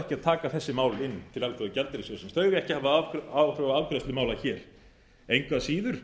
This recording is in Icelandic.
ekki að taka þessi mál inn til alþjóðagjaldeyrissjóðsins þau eiga ekki að hafa áhrif á afgreiðslu mála hér eins að síður